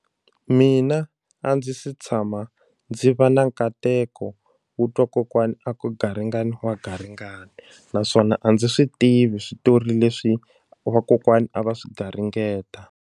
Mina a ndzi se tshama ndzi va na nkateko wo twa kokwani a ku garingani wa garingani naswona a ndzi swi tivi switori leswi vakokwana a va swi garingeta.